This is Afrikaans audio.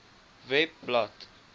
webblad